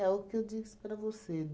o que eu disse para você.